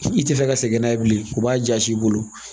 I tɛ fɛ ka segin n'a ye bilen u b'a jasi i bolo